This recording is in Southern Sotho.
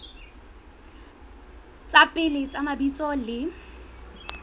tsa pele tsa mabitso le